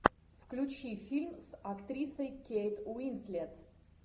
включи фильм с актрисой кейт уинслет